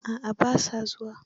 A'a ba sa zuwa.